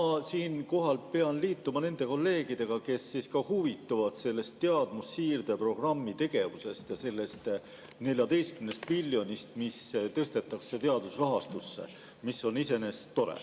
Ma siinkohal pean liituma nende kolleegidega, kes huvituvad teadmussiirde programmi tegevusest ja sellest 14 miljonist, mis tõstetakse teadusrahastusse, mis on iseenesest tore.